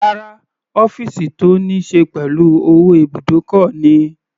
Rárá, ọ́fìsì tó níí ṣe pẹ̀lú owó ibùdókọ̀ ni.